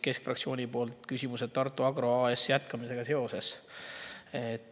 Keskfraktsioon päris aru Tartu Agro AS jätkamise kohta.